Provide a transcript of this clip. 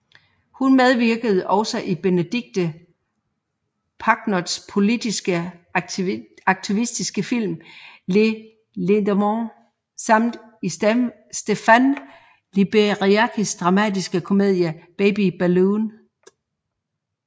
Han medvirkede også i Bénédicte Pagnots politiske aktivistiske film Les Lendemains samt i Stefan Liberskis dramatiske komedie Baby Balloon